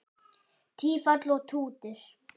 Tífall og Tútur